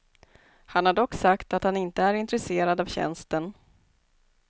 Han har dock sagt att han inte är intresserad av tjänsten.